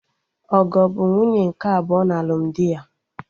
Ogo bụ nwunye nke abụọ na alụmdi ya